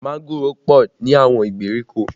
Mángòrò pọ ní àwọn ìgbèríko